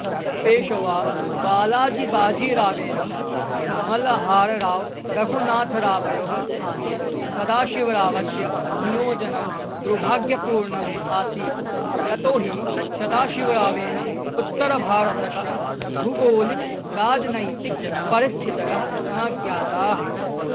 पेशवाबालाजिबाजीरावेन मळ्हाररावरघुनाथरावयोः स्थाने सदाशिवरावस्य नियोजनम् दुर्भाग्यपूर्णम् आसीत् यतोहि सदाशिवरावेन उत्तरभारतस्य भूगोलिकराजनैतिकपरिस्थितयः न ज्ञाताः